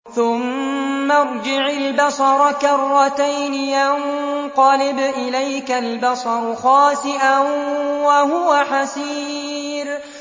ثُمَّ ارْجِعِ الْبَصَرَ كَرَّتَيْنِ يَنقَلِبْ إِلَيْكَ الْبَصَرُ خَاسِئًا وَهُوَ حَسِيرٌ